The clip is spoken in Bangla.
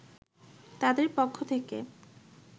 তাদের পক্ষ থেকে